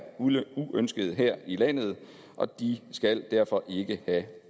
uønskede her i landet og de skal derfor ikke have